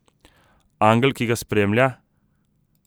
Angel, ki ga spremlja?